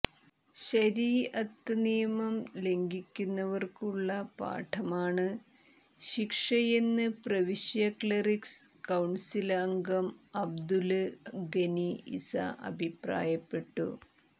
ശരീഅത്ത് നിയമം ലംഘിക്കുന്നവര്ക്കുള്ള പാഠമാണ് ശിക്ഷയെന്ന് പ്രവിശ്യ ക്ലെറിക്സ് കൌണ്സില് അംഗം അബ്ദുല് ഗനി ഇസ അഭി്പ്രായപ്പെട്ടു